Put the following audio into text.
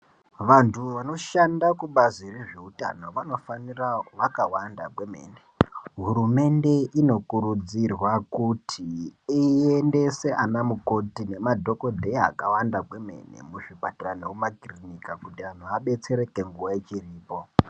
Vantu vanoshanda kubazi rezveutano vanofanira vakawanda kwemene. Hurumende inokurudzirwa kuti iendese anamukoti nemadhogodheya akawanda kwemene muzvipatara nemumakirinika. Kuti antu abetsereke nguva ichiripo.